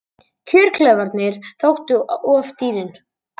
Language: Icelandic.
Kjörklefarnir þóttu of dýrir